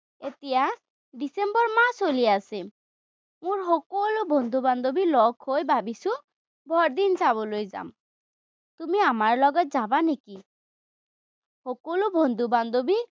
এতিয়া, ডিচেম্বৰ মাহ চলি আছে, মোৰ সকলো বন্ধু-বান্ধৱী লগ হৈ ভাৱিছো বৰদিন চাবলৈ যাম। তুমি আমাৰ লগত যাবা নেকি? সকলো বন্ধু-বান্ধৱী